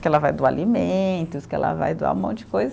Que ela vai doar alimentos, que ela vai doar um monte de coisa.